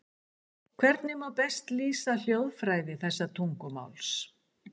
Hvernig má best lýsa hljóðfræði þessa tungumáls?